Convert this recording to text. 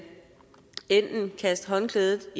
kaste håndklædet